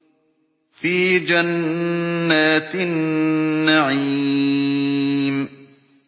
فِي جَنَّاتِ النَّعِيمِ